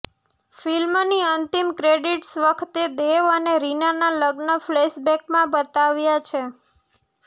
ફિલ્મની અંતિમ ક્રેડિટસ વખતે દેવ અને રીનાનાં લગ્ન ફ્લેશબેકમાં બતાવ્યા છે